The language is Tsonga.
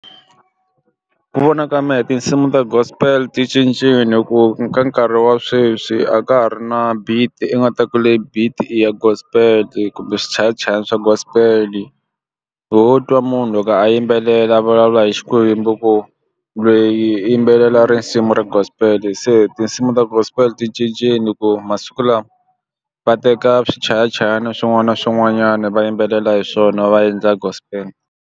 Ku vona ka mehe tinsimu ta gospel ti cincile ku ka nkarhi wa sweswi a ka ha ri na beat i nga ta ku leyi beat i ya gospel kumbe swichayachayani swa gospel ho twa munhu loko a yimbelela vulavula hi Xikwembu ku lweyi i yimbelela risimu ra gospel se tinsimu ta gospel ti cincile ku masiku lama va teka swichayachayani swin'wana na swin'wanyana va yimbelela hi swona va endla gospel.